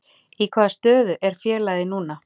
Í hvaða stöðu er félagið núna?